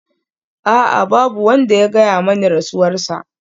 A'a! Babu wanda ya gaya mani rasuwarsa.